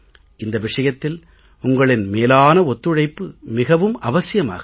இந்த விஷயத்தில் உங்களின் மேலான ஒத்துழைப்பு மிகவும் அவசியமாகிறது